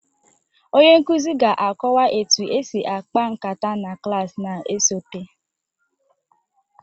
Onye nkuzi ga-akọwa etu esi akpa nkata na klas na-esote